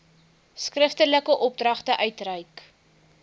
skriftelike opdragte uitreik